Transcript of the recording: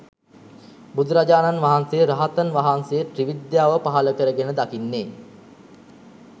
බුදුරජාණන් වහන්සේ, රහතන් වහන්සේ ත්‍රිවිද්‍යාව පහළකර ගෙන දකින්නේ